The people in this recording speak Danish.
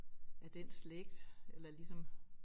Af den slægt eller ligesom